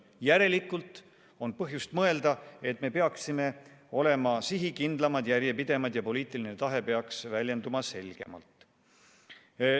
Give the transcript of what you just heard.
Järelikult on põhjust mõelda, et me peaksime olema sihikindlamad ja järjepidevamad ning poliitiline tahe peaks väljenduma selgemalt.